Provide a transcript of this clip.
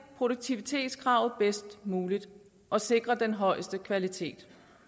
produktivitetskravet bedst muligt og sikre den højeste kvalitet